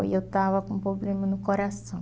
E eu estava com um problema no coração.